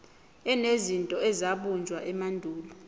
enezinto ezabunjwa emandulo